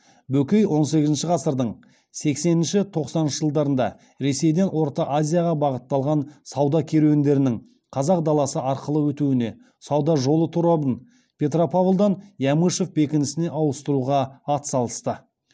бөкей он сегізінші ғасырдың сексенінші тоқсаныншы жылдарында ресейден орта азияға бағытталған сауда керуендерінің қазақ даласы арқылы өтуіне сауда жолы торабын петропавлдан ямышев бекінісіне ауыстыруға атсалысты